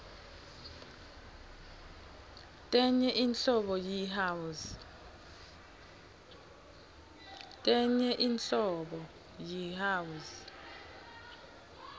tenye inhlobo yi house